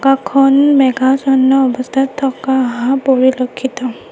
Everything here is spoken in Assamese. আকাশখন মেঘাছন্ন অৱস্থাত থকা হা পৰিলক্ষিত।